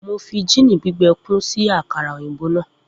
Mo fi gin gbigbẹ kun si akara oyinbo naa.